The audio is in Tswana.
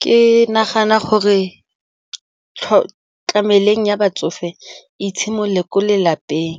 Ke nagana gore ya batsofe e tshimolele ko lelapeng